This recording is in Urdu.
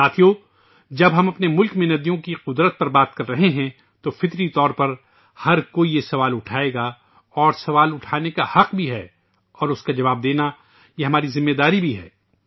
دوستو ، جب ہم اپنے ملک میں ندیوں کی شان کے بارے میں بات کر رہے ہیں تو قدرتی طور پر ہر کوئی ایک سوال اٹھائے گا اور سوال اٹھانے کا حق بھی ہے اور اس کا جواب دینا ہماری ذمہ داری بھی ہے